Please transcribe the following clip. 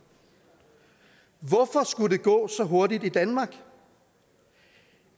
hvorfor skulle det gå så hurtigt i danmark